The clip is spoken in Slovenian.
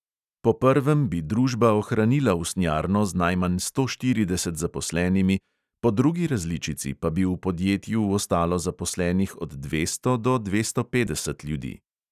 Po prvem bi družba ohranila usnjarno z najmanj sto štirideset zaposlenimi, po drugi različici pa bi v podjetju ostalo zaposlenih od dvesto do dvesto petdeset ljudi.